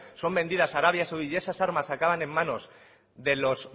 son vendidas a arabia saudí y esas armas acaban en manos de los